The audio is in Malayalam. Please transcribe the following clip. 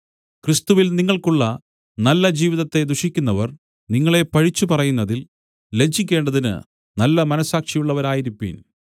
ക്രിസ്തുവിൽ നിങ്ങൾക്കുള്ള നല്ല ജീവിതത്തെ ദുഷിക്കുന്നവർ നിങ്ങളെ പഴിച്ച് പറയുന്നതിൽ ലജ്ജിക്കേണ്ടതിന് നല്ലമനസ്സാക്ഷിയുള്ളവരായിരിപ്പിൻ